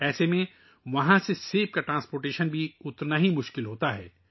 ایسے میں وہاں سے سیب کی نقل و حمل بھی اتنی ہی مشکل ہو جاتی ہے